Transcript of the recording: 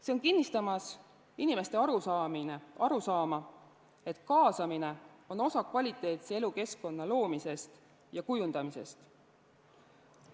See on kinnistamas inimeste arusaama, et kaasamine on osa kvaliteetse elukeskkonna loomisest ja kujundamisest.